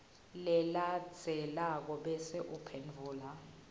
lelandzelako bese uphendvula